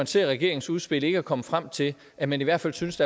ser regeringens udspil ikke at komme frem til at man i hvert fald synes